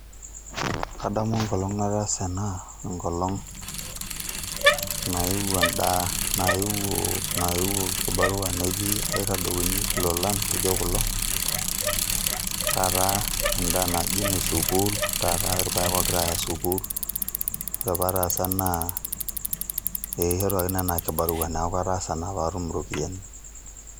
Adamu enkolong nataasa ena, enkolong' naewuo endaa, naewuo kibarua neji aitadouni ilolan lijo kulo, taata endaa naijo ene sukuul, taata irpaek ogirai aya sukuul. Ore pataasa naa, ekishoruaki naa enaa kibarua, neeku kataasa naa patum iropiyiani.